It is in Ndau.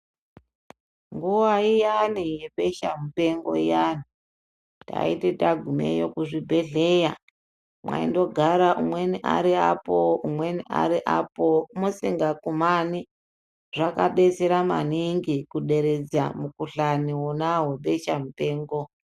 Nguva iyani yebesha mupengo iyani taiti tagumeyo kuzvibhedhlera mwaindogara umweni ari apo umweni ari apo musingakumani zvakadetsera maningi kuderedza mukuhlani wona webesha mupengo.